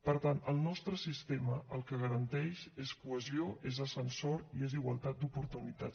per tant el nostre sistema el que garanteix és cohesió és ascensor i és igualtat d’oportunitats